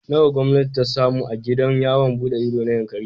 Nawa gwamnati ta samu a gidan yawon buɗe ido na Yankari?